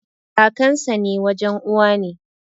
Kakansa na wajen Uwa ne.